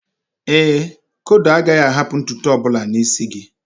Éè, n'ezie, kodo agaghị ahapụ ntutu ọbụla n'isi gi